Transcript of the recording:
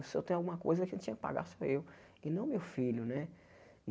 Se eu tenho alguma coisa quem tinha que pagar, sou eu, e não meu filho, né?